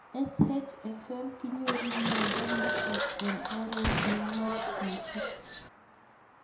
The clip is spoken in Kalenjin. SHFM kinyoru miondo nitok eng' oret ne ng'om mising'